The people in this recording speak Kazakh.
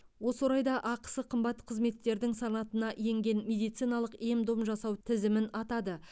осы орайда ақысы қымбат қызметтердің санатына енген медициналық ем дом жасау тізімін атады